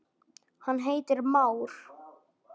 hann heitir már.